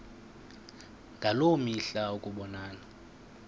ngaloo mihla ukubonana